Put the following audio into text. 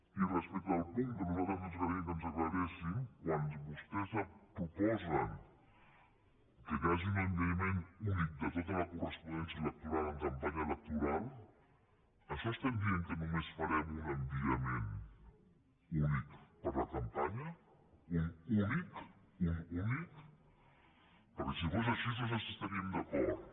i respecte al punt que a nosaltres ens agradaria que ens aclarissin quan vostès proposen que hi hagi un enviament únic de tota la correspondència electoral en campanya electoral amb això diem que només farem un enviament únic per a la campanya un únic un únic perquè si fos així nosaltres hi estaríem d’acord